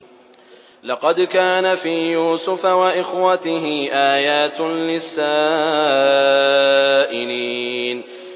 ۞ لَّقَدْ كَانَ فِي يُوسُفَ وَإِخْوَتِهِ آيَاتٌ لِّلسَّائِلِينَ